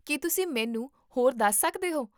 ਕੀ ਤੁਸੀਂ ਮੈਨੂੰ ਹੋਰ ਦੱਸ ਸਕਦੇ ਹੋ?